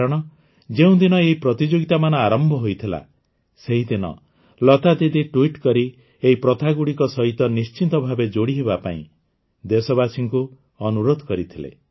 କାରଣ ଯେଉଁଦିନ ଏହି ପ୍ରତିଯୋଗିତାମାନ ଆରମ୍ଭ ହୋଇଥିଲା ସେହିଦିନ ଲତା ଦିଦି ଟ୍ୱିଟ୍ କରି ଏହି ପ୍ରଥାଗୁଡ଼ିକ ସହ ନିଶ୍ଚିତ ଭାବେ ଯୋଡ଼ି ହେବା ପାଇଁ ଦେଶବାସୀଙ୍କୁ ଅନୁରୋଧ କରିଥିଲେ